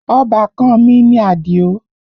Ọbàkan an mi ni Àdìó